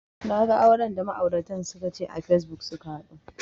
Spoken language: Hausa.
Naga auran da ma'auratan suka ce a facebook suka haɗu